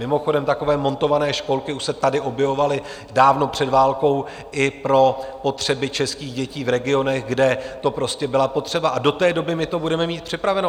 Mimochodem, takové montované školky už se tady objevovaly dávno před válkou i pro potřeby českých dětí v regionech, kde to prostě byla potřeba, a do té doby my to budeme mít připraveno.